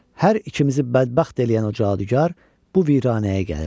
"Hər ikimizi bədbəxt eləyən o cadugar bu viranəyə gəlir.